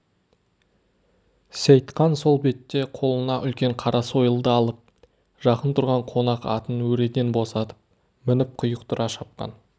сейтқан сол бетте қолына үлкен қара сойылды алып жақын тұрған қонақ атын өреден босатып мініп құйықтыра шапқан